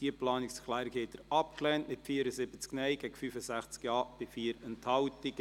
Sie haben diese Planungserklärung abgelehnt, mit 74 Nein- gegen 65 Ja-Stimmen bei 4 Enthaltungen.